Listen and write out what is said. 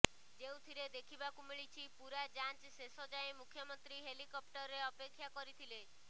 ଯେଉଁଥିରେ ଦେଖିବାକୁ ମିଳିଛି ପୂରା ଯାଞ୍ଚ ଶେଷ ଯାଏ ମୁଖ୍ୟମନ୍ତ୍ରୀ ହେଲିକପ୍ଟରରେ ଅପେକ୍ଷା କରିଥିଲେ